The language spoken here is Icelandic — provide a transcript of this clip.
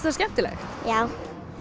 það skemmtilegt já